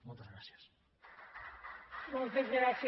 moltes gràcies